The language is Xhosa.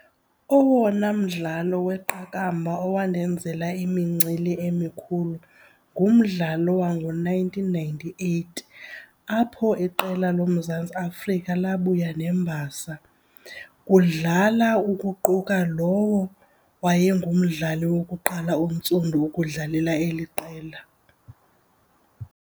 Owona mdlalo weqakamba owandenzela imincili emikhulu ngumdlalo wango-nineteen ninety-eight apho iqela loMzantsi Afrika lika lwabuya nembasa. Kudlala ukuquka lowo wayengumdlali wokuqala ontsundu ukudlalela eli qela.